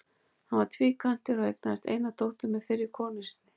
Hann var tvíkvæntur og eignaðist eina dóttur með fyrri konu sinni.